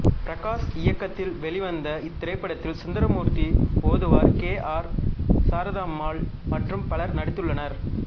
பிரகாஷ் இயக்கத்தில் வெளிவந்த இத்திரைப்படத்தில் சுந்தரமூர்த்தி ஓதுவார் கே ஆர் சாரதாம்பாள் மற்றும் பலரும் நடித்துள்ளனர்